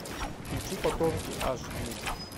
включи потомки аш ди